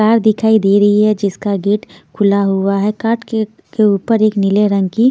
car दिखाई दे रही है जिसका गेट खुला हुआ है कार के के ऊपर एक नीले रंग की--